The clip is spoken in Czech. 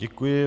Děkuji.